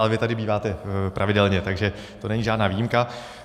Ale vy tady býváte pravidelně, takže to není žádná výjimka.